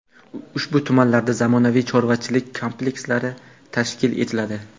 ushbu tumanlarda zamonaviy chorvachilik komplekslari tashkil etiladi.